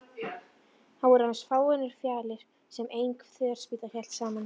Þetta voru aðeins fáeinar fjalir sem ein þverspýta hélt saman.